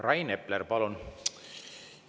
Rain Epler, palun!